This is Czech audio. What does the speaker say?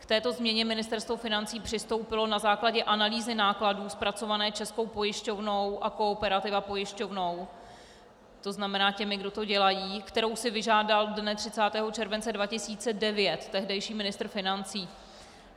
K této změně Ministerstvo financí přistoupilo na základě analýzy nákladů zpracované Českou pojišťovnou a Kooperativa pojišťovnou - to znamená, těmi kdo to dělají -, kterou si vyžádal dne 30. července 2009 tehdejší ministr financí.